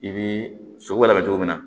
I bi sogo labɛn cogo min na